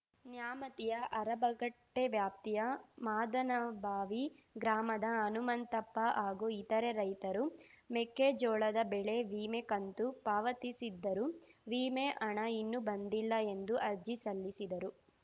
ನ್ಯಾಮತಿಯ ಅರಬಗಟ್ಟೆವ್ಯಾಪ್ತಿಯ ಮಾದನಬಾವಿ ಗ್ರಾಮದ ಹನುಮಂತಪ್ಪ ಹಾಗೂ ಇತರೆ ರೈತರು ಮೆಕ್ಕೇಜೋಳದ ಬೆಳೆ ವೀಮೆ ಕಂತು ಪಾವತಿಸಿದ್ದರೂ ವೀಮೆ ಹಣ ಇನ್ನೂ ಬಂದಿಲ್ಲ ಎಂದು ಅರ್ಜಿ ಸಲ್ಲಿಸಿದರು